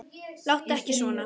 Láttu ekki svona!